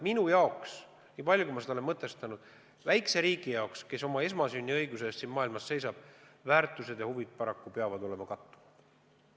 Minu arvates, nii palju kui ma olen seda mõtestanud, peavad väikese riigi jaoks, kes oma esmasünniõiguse eest siin maailmas seisab, väärtused ja huvid olema kattuvad.